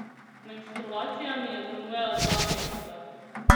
Menstruacija mi je zamujala dva meseca.